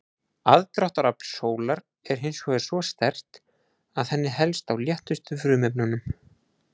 Aðdráttarafl sólar er hins vegar svo sterkt að henni helst á léttustu frumefnunum.